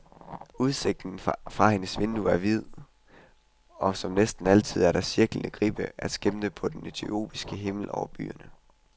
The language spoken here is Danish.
Udsigten fra hendes vindue er vid, og som næsten altid er der cirklende gribbe at skimte på den etiopiske himmel over byerne.